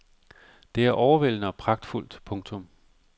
Det er overvældende og pragtfuldt. punktum